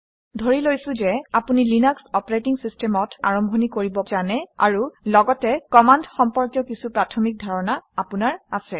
ধৰি লৈছোঁ যে আপুনি লিনাক্স অপাৰেটিং চিষ্টেমত কেনেকৈ আৰম্ভণি কৰিব পাৰে সেই বিষয়ে জানে আৰু লগতে কমাণ্ড সম্পৰ্কীয় কিছু প্ৰাথমিক ধাৰণা আপোনাৰ আছে